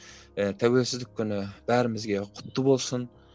ііі тәуелсіздік күні бәрімізге құтты болсын